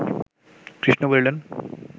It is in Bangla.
কৃষ্ণ বলিলেন